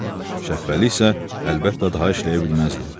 Şəhbəli isə əlbəttə daha işləyə bilməzdi.